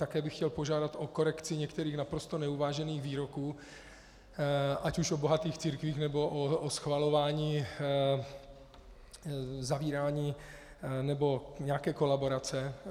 Také bych chtěl požádat o korekci některých naprosto neuvážených výroků ať už o bohatých církvích, nebo o schvalování zavírání nebo nějaké kolaborace.